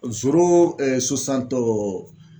Zoro